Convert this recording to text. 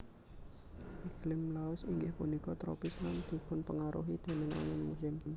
Iklim Laos inggih punika tropis lan dipunpengaruhi déning angin musim